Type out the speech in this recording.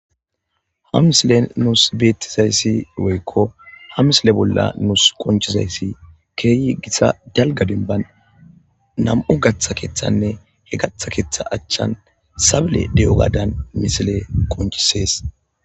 ha misile nuus beettizayssi woykko ha misile bolla nuus qonchizayssi keeyi gitsa dalga dinban nam7u gatha keeththanne he gatha keeththa achchan sable de7o gaadan misile qonchisees